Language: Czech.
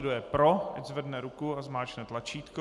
Kdo je pro, ať zvedne ruku a zmáčkne tlačítko.